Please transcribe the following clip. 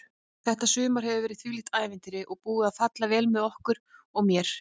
Þetta sumar hefur verið þvílíkt ævintýri og búið að falla vel með okkur og mér.